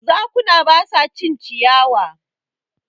Zakuna ba su cin ciyawa.